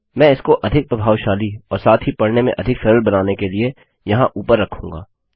मैं इसको अधिक प्रभावशाली और साथ ही पढ़ने में अधिक सरल बनाने के लिए यहाँ ऊपर रखूँगा